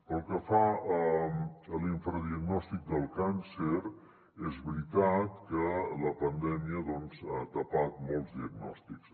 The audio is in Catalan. pel que fa a l’infradiagnòstic del càncer és veritat que la pandèmia doncs ha tapat molts diagnòstics